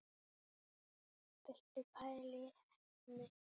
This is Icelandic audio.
Viltu pæla í heppni!